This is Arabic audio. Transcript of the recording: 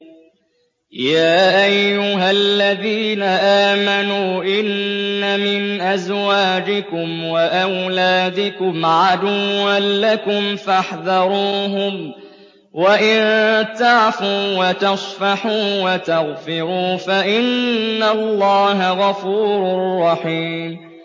يَا أَيُّهَا الَّذِينَ آمَنُوا إِنَّ مِنْ أَزْوَاجِكُمْ وَأَوْلَادِكُمْ عَدُوًّا لَّكُمْ فَاحْذَرُوهُمْ ۚ وَإِن تَعْفُوا وَتَصْفَحُوا وَتَغْفِرُوا فَإِنَّ اللَّهَ غَفُورٌ رَّحِيمٌ